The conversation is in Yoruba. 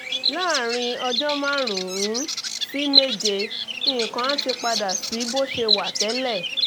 láàárín ọjọ́ márùn-ún sí méje nǹkan á ti padà sí bó ṣe wà tẹ́lẹ̀